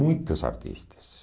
muitos artistas.